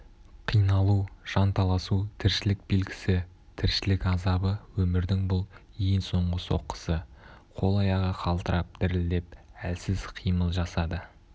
қиналу жанталасу тіршілік белгісі тіршілік азабы өмірдің бұл ең соңғы соққысы қол-аяғы қалтырап-дірілдеп әлсіз қимыл жасады